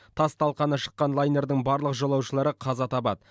тас талқаны шыққан лайнердің барлық жолаушылары қаза табады